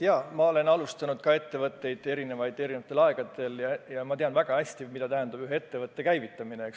Jaa, ma olen ka erinevatel aegadel erinevaid ettevõtteid alustanud ja tean väga hästi, mida tähendab ühe ettevõtte käivitamine.